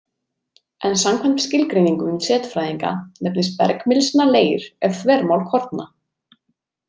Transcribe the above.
En samkvæmt skilgreiningum setfræðinga nefnist bergmylsna leir ef þvermál korna.